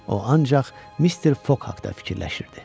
O ancaq Mister Fog haqda fikirləşirdi.